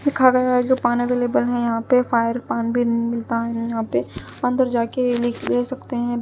दिखा गया है जो पान अवेलेबल है यहां पे फायर पान भी मिलता है यहां पे अंदर जा के लिक ले सकते हैं।